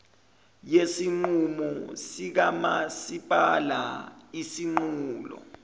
yesinqumo sikamasipala isinqulo